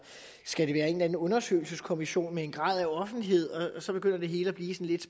skal det være en eller anden undersøgelseskommission med en grad af offentlighed så begynder det hele at blive lidt